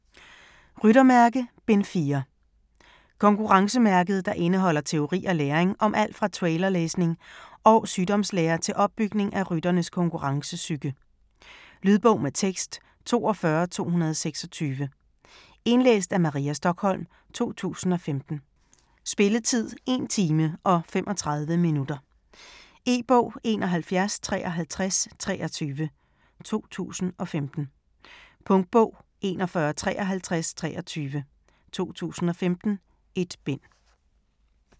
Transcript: Ryttermærke: Bind 4 Konkurrencemærket, der indeholder teori og læring om alt fra trailerlæsning og sygdomslære til opbygning af rytternes konkurrencepsyke. Lydbog med tekst 42226 Indlæst af Maria Stokholm, 2015. Spilletid: 1 time, 35 minutter. E-bog 715323 2015. Punktbog 415323 2015. 1 bind.